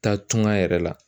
Taa tuŋa yɛrɛ la